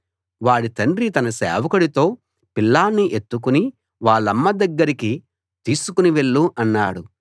వాడి తండ్రి తన సేవకుడితో పిల్లాణ్ణి ఎత్తుకుని వాళ్ళమ్మ దగ్గరికి తీసుకు వెళ్ళు అన్నాడు